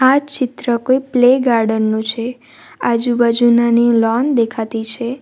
આ ચિત્ર કોઈ પ્લે ગાર્ડન નું છે આજુબાજુ નાની લોન દેખાતી છે.